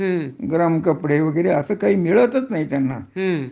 गरम कपडे वगैरे असं काही मिळतच नाही त्यांना